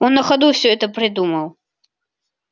он на ходу всё это придумал